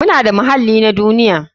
Muna da muhallin na duniya.